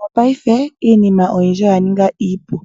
Mopaife iinima oyindji oya ninga iipu,